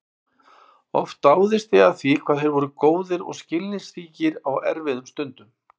Oft dáðist ég að því hvað þeir voru góðir og skilningsríkir á erfiðum stundum.